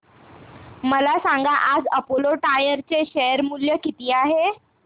मला सांगा आज अपोलो टायर्स चे शेअर मूल्य किती आहे